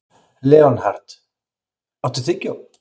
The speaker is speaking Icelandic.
Leonhard, áttu tyggjó?